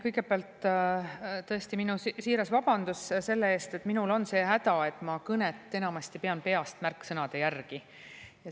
Kõigepealt tõesti minu siiras vabandus selle eest, et minul on see häda, et ma kõnet enamasti pean peast märksõnade järgi.